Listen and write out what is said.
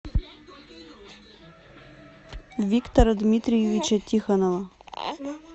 виктора дмитриевича тихонова